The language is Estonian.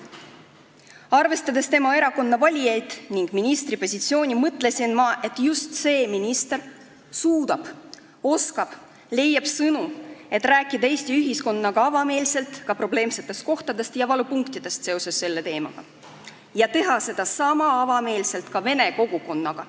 Arvestades tema erakonna valijaid ning tema kui ministri positsiooni, mõtlesin ma, et just see minister suudab ja oskab leida sõnu, et rääkida Eesti ühiskonnas avameelselt ka probleemsetest kohtadest ja valupunktidest seoses selle teemaga ning teha seda sama avameelselt ka vene kogukonnas.